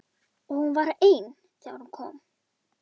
Og hún var ein þegar hún kom.